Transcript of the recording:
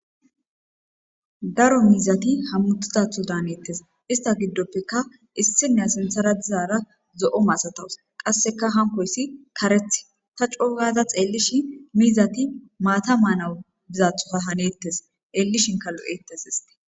Daro miizati hamutizato danetes ista gidopeka isiniya sintara dizara zo'o masataws qaseka hankoti karetha ta c'o'u gada xelishe miizati mata manaw bizato hanetes xelishinka lo'etes.